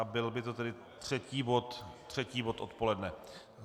A byl by to tedy třetí bod odpoledne.